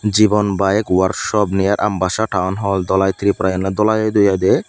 jiban bike workshop near ambassa town hall dhalai tripura yen ole dhalai o idu ai de.